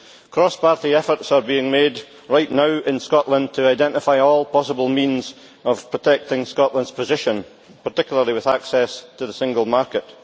Cross party efforts are being made right now in Scotland to identify all possible means of protecting Scotland's position, particularly with access to the single market.